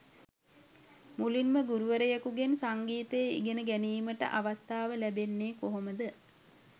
මුලින්ම ගුරුවරයකුගෙන් සංගීතය ඉගෙනගැනීමට අවස්ථාව ලැබෙන්නේ කොහොමද?